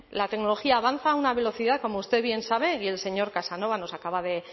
la tecnología avanza a una velocidad como usted bien sabe y el señor casanova nos acaba de